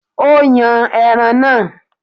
Ó yan ẹran náà.